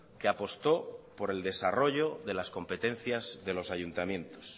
que apostó por el desarrollo de las competencias de los ayuntamientos